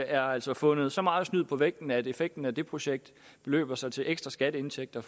er altså fundet så meget snyd på vægten at effekten af det projekt beløber sig til ekstra skatteindtægter